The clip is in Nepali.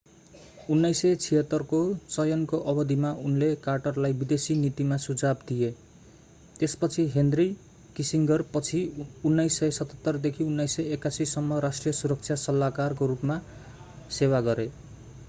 1976 को चयनको अवधिमा उनले कार्टरलाई विदेशी नीतिमा सुझाव दिए त्यसपछि हेनरी किसिङ्गरपछि 1977 देखि 1981 सम्म राष्ट्रिय सुरक्षा सल्लाहकार nsa को रूपमा सेवा गरे।